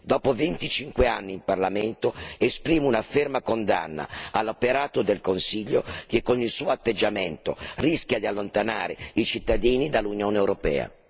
Dopo 25 anni in Parlamento, esprimo una ferma condanna all'operato del Consiglio, che con il suo atteggiamento rischia di allontanare i cittadini dall'Unione europea.